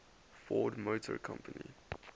ford motor company